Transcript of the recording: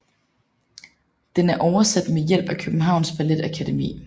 Den er oversat med hjælp af Københavns Ballet Akademi